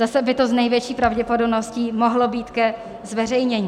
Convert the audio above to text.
Zase by to s největší pravděpodobností mohlo být ke zveřejnění.